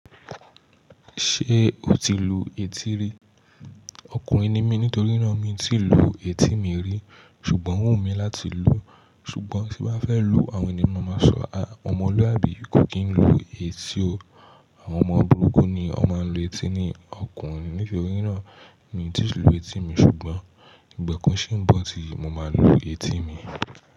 Ṣé o ti lu etí rí? Ọkùnrin ni mí nítorí náà mi tí lu etí mi rí ṣùgbọ́n oo wu mí láti lu. Ṣùgbọ́n tí bá fẹ́ lu, àwọn ènìyàn máa sọ, "àwọn ọmọlúàbí kò kì í lu etí o. Àwọn ọmọ burúkú ni ó máa ń lu etí ni." Ọkùnrin nítorí náà ni tí lu etí mi ṣùgbọ́n ìgbà kan ṣí ń bọ̀ tí mo máa lu etí mi.